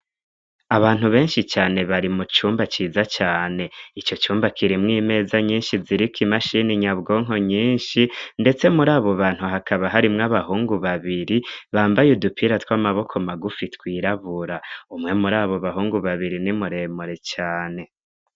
Abantu benshi cane bari mu cumba ciza cane ico cumba kirimwo imeza nyinshi ziriko imashini nyabwonko nyinshi, ndetse muri abo bantu hakaba harimwo abahungu babiri bambaye udupira tw'amaboko magufi twirabura umwe muri abo bahungu babiri ni muremure cane.